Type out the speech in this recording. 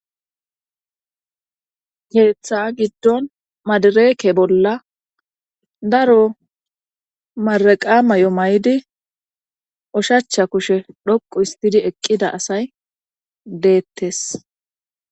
Keeththa giddon madireke bolla daro maraqa may7o may7di oshacha kushe dhoqu histidi eqqida asay deettes.